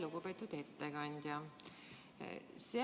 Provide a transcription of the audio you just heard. Lugupeetud ettekandja!